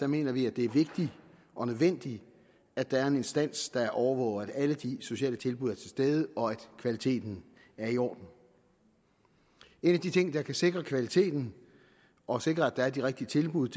mener vi det er vigtigt og nødvendigt at der er en instans der overvåger at alle de sociale tilbud er til stede og at kvaliteten er i orden en af de ting der kan sikre kvaliteten og sikre at der er de rigtige tilbud